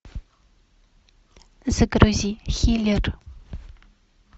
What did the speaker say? загрузи хилер